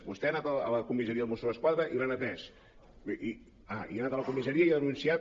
vostè ha anat a la comissaria dels mossos d’esquadra i l’han atès ah i ha anat a la comissaria i ha denunciat